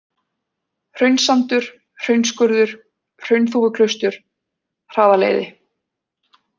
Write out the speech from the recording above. Hraunssandur, Hraunsskurður, Hraunþúfuklaustur, Hraðaleiði